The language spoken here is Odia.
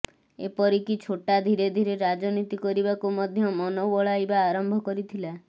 ଏପରିକି ଛୋଟା ଧୀରେ ଧୀରେ ରାଜନୀତି କରିବାକୁ ମଧ୍ୟ ମନ ବଳାଇବା ଆରମ୍ଭ କରିଥିଲା